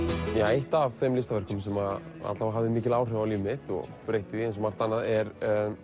eitt af þeim listaverkum sem hafði mikil áhrif á líf mitt og breytti því eins og margt annað er